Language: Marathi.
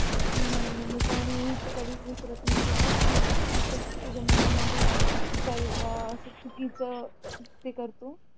नाय नाय मी कोणाला मी तर कधीच विसरत नाही तुला तूच असं तुझ्या मनामध्ये असं चुकीचं ते करतो